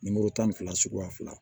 Nimoro tan ni fila suguya fila